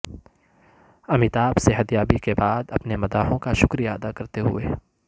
امیتابھ صحت یابی کے بعد اپنے مداحوں کا شکریہ ادا کرتے ہوئے